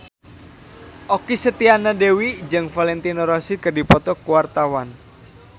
Okky Setiana Dewi jeung Valentino Rossi keur dipoto ku wartawan